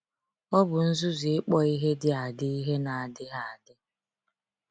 Ọ bụ nzuzu ịkpọ ihe dị adị ihe na adịghị adị.